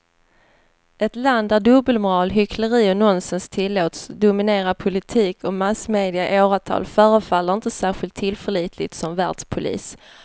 Ett land där dubbelmoral, hyckleri och nonsens tillåts dominera politik och massmedia i åratal förefaller inte särskilt tillförlitligt som världspolis.